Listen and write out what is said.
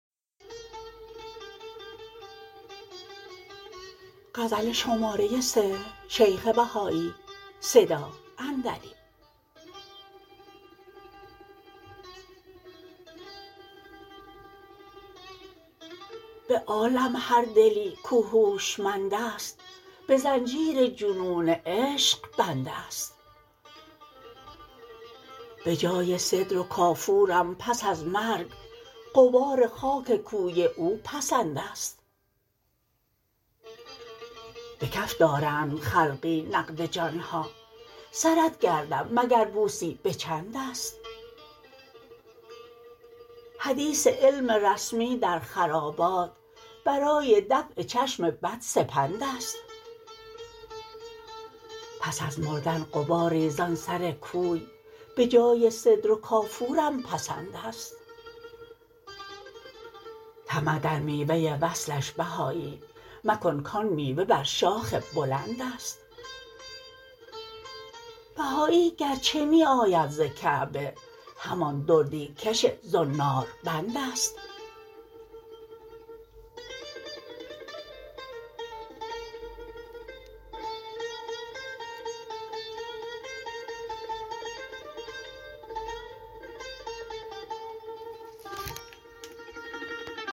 به عالم هر دلی کاو هوشمند است به زنجیر جنون عشق بند است به جای سدر و کافورم پس از مرگ غبار خاک کوی او پسند است به کف دارند خلقی نقد جانها سرت گردم مگر بوسی به چند است حدیث علم رسمی در خرابات برای دفع چشم بد سپند است پس از مردن غباری زان سر کوی به جای سدر و کافورم پسند است طمع در میوه وصلش بهایی مکن کان میوه بر شاخ بلند است بهایی گرچه می آید ز کعبه همان دردی کش زناربند است